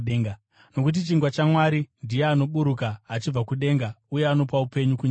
Nokuti chingwa chaMwari ndiye anoburuka achibva kudenga uye anopa upenyu kunyika.”